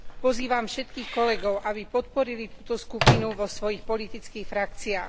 Pozývam všetkých kolegov, aby podporili túto skupinu vo svojich politických frakciách.